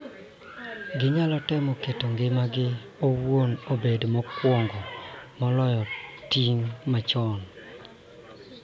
Ginyalo temo keto ngimagi owuon obed mokuongo moloyo ting�gi machon.